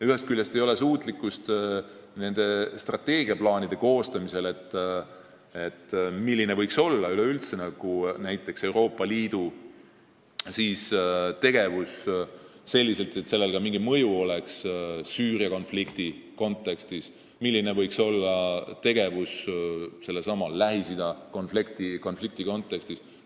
Teisest küljest ei ole suutlikkust strateegiaplaanide koostamisel, milline võiks üleüldse olla Euroopa Liidu tegevus, et sellel oleks mingi mõju Süüria või üldse Lähis-Ida konflikti kontekstis.